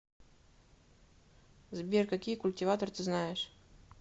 сбер какие культиватор ты знаешь